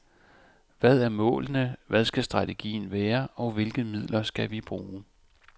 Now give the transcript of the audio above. Hvad er målene, hvad skal strategien være, og hvilke midler skal vi bruge.